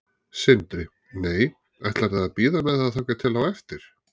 Sindri: Nei, ætlarðu að bíða með það þangað til á eftir?